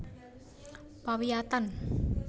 Pawiyatan